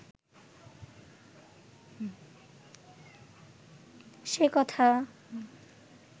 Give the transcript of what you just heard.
সে কথা